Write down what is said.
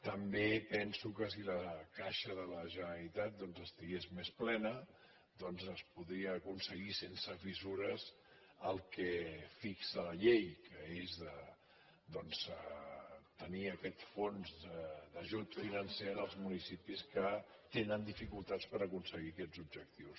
també penso que si la caixa de la generalitat doncs estigués més plena es podria aconseguir sense fissures el que fixa la llei que és de tenir aquest fons d’ajut financer en els municipis que tenen dificultats per aconseguir aquests objectius